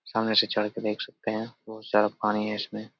सामने से चढ़ के देख सकते है। बोहोत सारा पानी है इसमें।